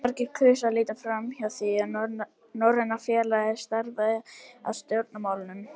Margir kusu að líta framhjá því, að Norræna félagið starfaði að stjórnmálum.